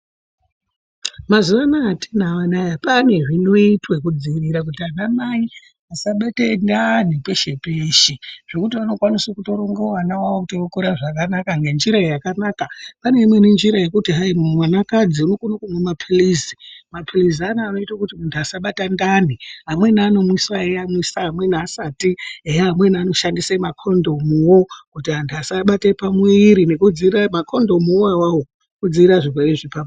Mazuvaanaya atinawo anaya pane zvinoitwa kudzivirira kuti ana mai vasabate ndani peshe peshe zvokuti vanokwanise kutoronga vana vavo kuti vokura zvakanaka ngenjira yakanaka pane imweni njira yekuti hayi mwanakadzi unokone kumwe mapirizi ,mapirizi anaya anoite kuti muntu asabata ndani amweni anomwiwa weiyamwisa amweni asati eya amweni anoshandisa makondomuwo kuti antu asabate pamwiiri nekudzivirira eya makondomuwo awawo kudzivirira zvirwere zvepabonde .